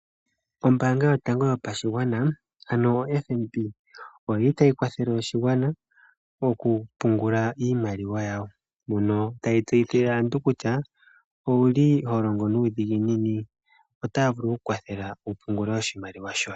Ombaanga yotango yopashigwana, ano FNB oyili tayi kwathele oshigwana oku pungula iimaliwa yawo, mono tayi tseyithile aantu kutya owu li ho longo nuudhiginini? Otaa vulu okukwathela oku ku pungulila oshimaliwa shoye.